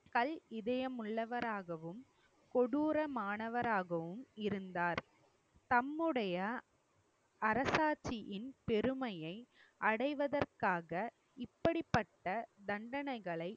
கல் இதயம் உள்ளவராகவும் கொடூரமானவராகவும் இருந்தார். தம்முடைய அரசாட்சியின் பெருமையை அடைவதற்காக இப்படிப்பட்ட தண்டனைகளை